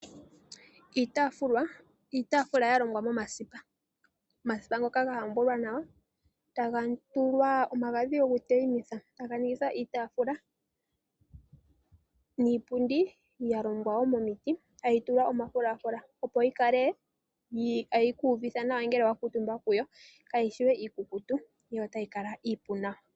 Iitafula ya longwa momasipa. Omasipa ngoka ga hambulwa nawa ta ga tulwa omagadhi go ku teyimitha. Ta ga ningithwa iitafula niipundi ya longwa wo momiti, ta dhi tulwa omafulafula opo yi kale ta yi ku uvitha nawa ngele wa kuutumba ko. Ka yi shi we ikukutu yo ota yi kala iipu nawa.